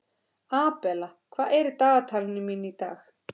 Abela, hvað er í dagatalinu mínu í dag?